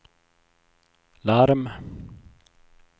larm